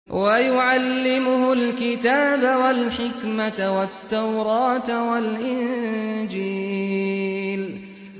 وَيُعَلِّمُهُ الْكِتَابَ وَالْحِكْمَةَ وَالتَّوْرَاةَ وَالْإِنجِيلَ